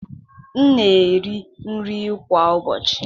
M na-eri nri kwa ụbọchị.